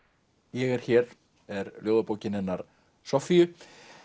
ég er hér er ljóðabókin hennar Soffíu